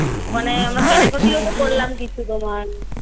ওখানে আমরা কেনাকাটি ও তো করলাম কিছু তোমার